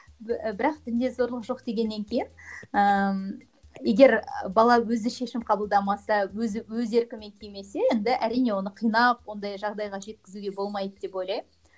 бірақ дінге зорлық жоқ дегеннен кейін ыыы егер бала өзі шешім қабылдамаса өзі өз еркімен кимесе енді әрине оны қинап ондай жағдайға жеткізуге болмайды деп ойлаймын